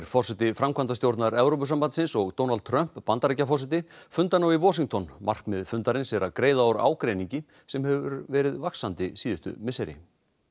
forseti framkvæmdastjórnar Evrópusambandsins og Donald Trump Bandaríkjaforseti funda nú í Washington markmið fundarins er að greiða úr ágreiningi sem hefur verið vaxandi síðustu misseri